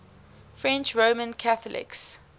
french roman catholics